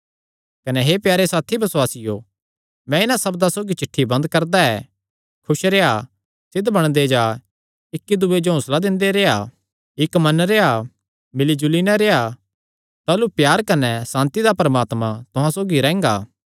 कने हे प्यारे साथी बसुआसियो मैं इन्हां सब्दां सौगी चिठ्ठी बंद करदा ऐ खुस रेह्आ सिद्ध बणदे जा इक्की दूये जो हौंसला दिंदे रेह्आ इक्क मन रेह्आ मिल्ली जुली नैं रेह्आ ताह़लू प्यार कने सांति दा परमात्मा तुहां सौगी रैंह्गा